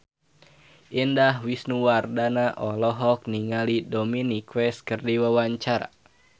Indah Wisnuwardana olohok ningali Dominic West keur diwawancara